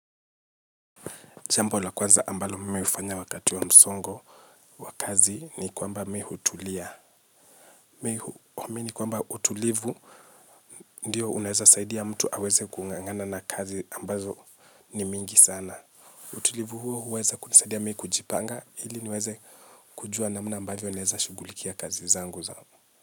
Jamba la kwanza ambalo mimi hufanya wakati wa msongo. Wa kazi ni kwamba me hutulia. Me huamini kwamba utulivu. Ndiyo unaweza saidi ya mtu aweze kung'ang'ana na kazi ambazo ni mingi sana. Utulivu huo huweza kunisaidia mi kujipanga. Ili niweze kujua namna ambavyo naweza shughulikia kazi zangu za.